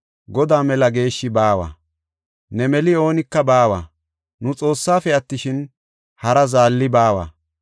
Godaa mela geeshshi baawa; ne meli oonika baawa. Nu Xoossaafe attishin, hara Zaalli baawa.